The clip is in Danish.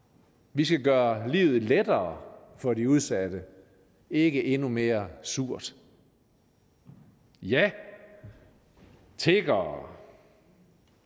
vi skal gøre livet lettere for de udsatte ikke endnu mere surt ja tiggere